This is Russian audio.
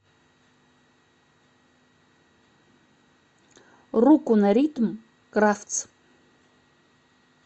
руку на ритм кравц